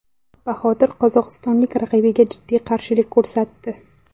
Bahodir qozog‘istonlik raqibiga jiddiy qarshilik ko‘rsatdi.